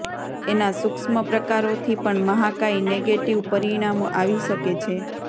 એના સૂક્ષ્મ પ્રકારોથી પણ મહાકાય નેગેટિવ પરિણામો આવી શકે છે